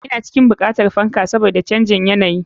Ina cikin buƙatar fan saboda canjin yanayi.